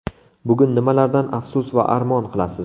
Bugun nimalardan afsus va armon qilasiz?